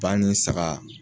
Ba ni saga